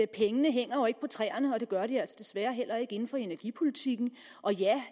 pengene jo ikke hænger på træerne og det gør de altså desværre heller ikke inden for energipolitikken og ja